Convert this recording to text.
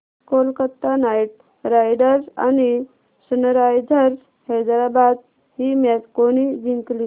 Kolkata Knight Riders आणि Sunrisers Hyderabad ही match कोणी जिंकली